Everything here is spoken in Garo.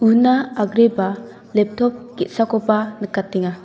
una agreba leptop ge·sakoba nikatenga.